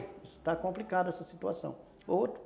Está complicada essa situação.